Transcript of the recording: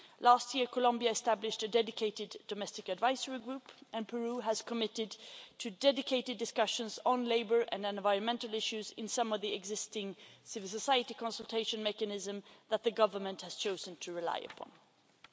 Last year Columbia established a dedicated domestic advisory group and Peru has committed to dedicated discussions on labour and environmental issues in some of the existing civil society consultation mechanisms that the government has chosen to rely upon.